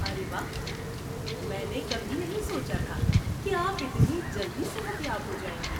ارے واہ! میں نے کبھی نہیں سوچا تھا کہ آپ اتنی جلدی صحت یاب ہو جائیں گے۔